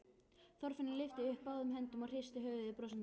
Þorfinnur lyftir upp báðum höndum og hristir höfuðið brosandi.